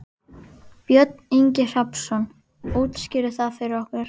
Björn Ingi Hrafnsson: Útskýrðu það fyrir okkur?